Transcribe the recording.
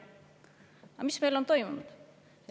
Aga mis meil on toimunud?